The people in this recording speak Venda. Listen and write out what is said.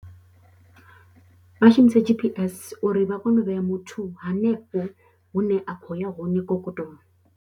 Vha shumisa G_P_S uri vha kone u vhea muthu hanefho hune a khou ya hone kokotolo.